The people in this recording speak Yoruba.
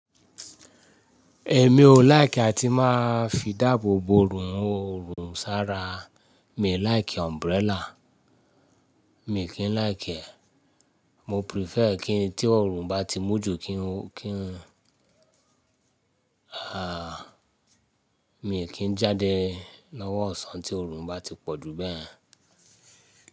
Èmi ò like àti máa fi ìdáàbò bo òòrùn, òòrùn sára. Mi like umbrella. Mi i kì n like e, mo prefer tí oòrùn bá ti mú jù, mi i kì n jáde lọ́wọ́ ìsán tí oòrùn bá ti pọ̀ bẹ́ẹ̀ yẹn.